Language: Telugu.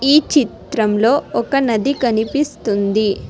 ఈ చిత్రంలో ఒక నది కనిపిస్తుంది.